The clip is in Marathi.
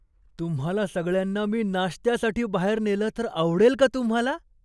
तुम्हाला सगळ्यांना मी नाश्त्यासाठी बाहेर नेलं तर आवडेल का तुम्हाला?